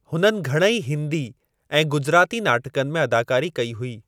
हुननि घणेई हिंदी ऐं गुजराती नाटकनि में अदाकारी कई हुई।